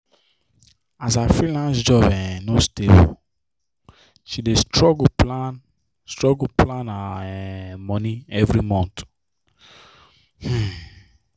as her freelance job um no stable she dey struggle plan struggle plan her um money every month. um